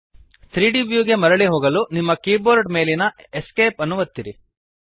3ದ್ ವ್ಯೂ ಗೆ ಮರಳಿ ಹೋಗಲು ನಿಮ್ಮ ಕೀಬೋರ್ಡ್ ಮೇಲಿನ Esc ಅನ್ನು ಒತ್ತಿರಿ